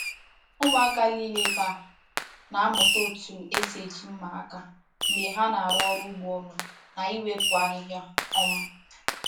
Ụmụaka niile ebe a a na-amụta otu esi eji mma aka mgbe ha na-arụ ọrụ ugbo ọnụ na iwepụ ahịhịa. um